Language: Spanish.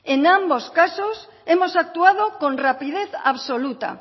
en ambos casos hemos actuado con rapidez absoluta